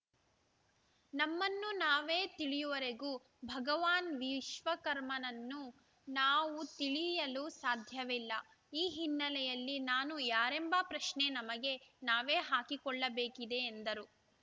ನಮ್ಮನ್ನು ನಾವೇ ತಿಳಿಯುವವರೆಗೂ ಭಗವಾನ್‌ ವಿಶ್ವಕರ್ಮನನ್ನು ನಾವು ತಿಳಿಯಲು ಸಾಧ್ಯವಿಲ್ಲ ಈ ಹಿನ್ನೆಲೆಯಲ್ಲಿ ನಾನು ಯಾರೆಂಬ ಪ್ರಶ್ನೆ ನಮಗೆ ನಾವೇ ಹಾಕಿಕೊಳ್ಳಬೇಕಿದೆ ಎಂದರು